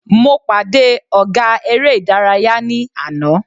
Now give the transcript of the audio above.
Mo pàdé ọ̀gá eré ìdárayá ní àná.